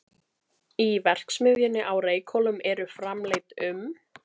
Í verksmiðjunni á Reykhólum eru framleidd um